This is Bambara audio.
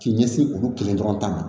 K'i ɲɛsin olu kelen dɔrɔn ta ma